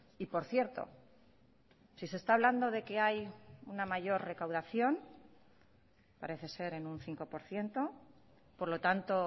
y por cierto si se está hablando de que hay una mayor recaudación parece ser en un cinco por ciento por lo tanto